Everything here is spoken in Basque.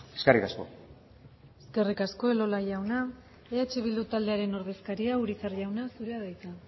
eskerrik asko eskerrik asko elola jauna eh bildu taldearen ordezkaria urizar jauna zurea da hitza